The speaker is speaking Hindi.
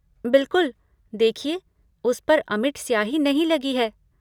बिलकुल। देखिए, उस पर अमिट स्याही नहीं लगी है।